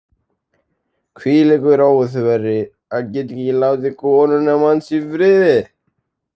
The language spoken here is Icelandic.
Hvílíkur óþverri, að geta ekki látið konuna manns í friði.